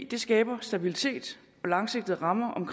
det skaber stabilitet og langsigtede rammer om